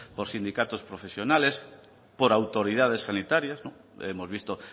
por sindicatos profesionales por autoridades sanitarias hemos visto